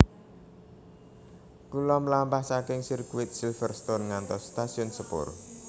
Kulo mlampah saking sirkuit Silverstone ngantos stasiun sepur